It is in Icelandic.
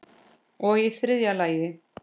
Og í þriðja lagi.